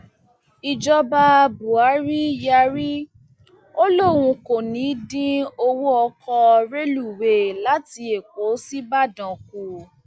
ìjọba buhari yarí ó lóun kò ní í dín owó ọkọ rélùwéè láti èkó sí ìbàdàn kù